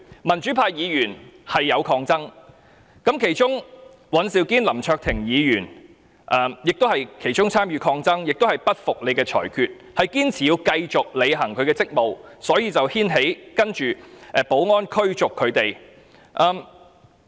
民主派議員當時是有抗爭的，其中尹兆堅議員、林卓廷議員也有參與抗爭，表示不服主席的裁決，堅持要繼續履行職務，所以才牽起接下來要保安人員驅逐他們的情況。